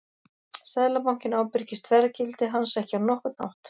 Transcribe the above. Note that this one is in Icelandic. Seðlabankinn ábyrgist verðgildi hans ekki á nokkurn hátt.